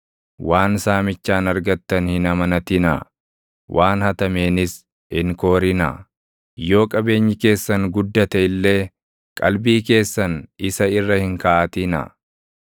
Waan saamichaan argattan hin amanatinaa; waan hatameenis hin koorinaa. Yoo qabeenyi keessan guddate illee, qalbii keessan isa irra hin kaaʼatinaa.